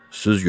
Süz görək.